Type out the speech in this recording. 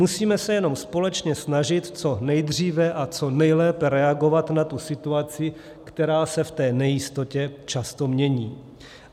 Musíme se jenom společně snažit co nejdříve a co nejlépe reagovat na tu situaci, která se v té nejistotě často mění.